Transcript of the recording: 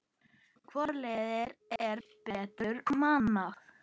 Hvort liðið er betur mannað?